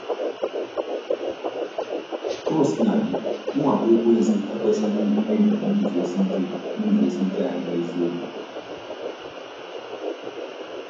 Ka o sina dị, mwakpo Ekwensu ekwesịghị imebi iguzosi ike iguzosi ike anyị n’eziokwu.